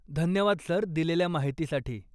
धन्यवाद सर, दिलेल्या माहितीसाठी.